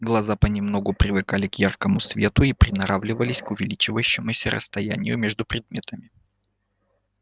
глаза понемногу привыкали к яркому свету и приноравливались к увеличившемуся расстоянию между предметами